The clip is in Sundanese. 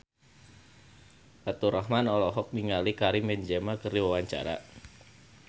Faturrahman olohok ningali Karim Benzema keur diwawancara